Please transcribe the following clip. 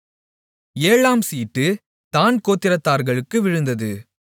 ஏழாம் சீட்டு தாண் கோத்திரத்தார்களுக்கு விழுந்தது